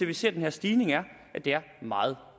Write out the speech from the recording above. vi ser den her stigning er at det er meget